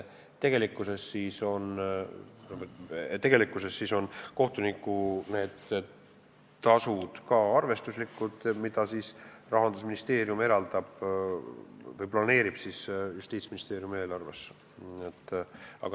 Tegelikkuses on arvestuslikud ka need kohtunike tasud, Rahandusministeerium eraldab või planeerib need Justiitsministeeriumi eelarvesse.